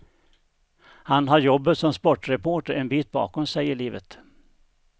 Han har jobbet som sportreporter en bit bakom sig i livet.